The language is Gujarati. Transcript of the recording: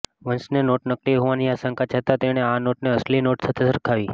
વંશને નોટ નકલી હોવાની આશંકા જતાં તેણે આ નોટને અસલી નોટ સાથે સરખાવી